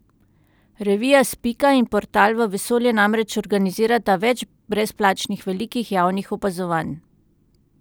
Revija Spika in Portal v vesolje namreč organizirata več brezplačnih velikih javnih opazovanj.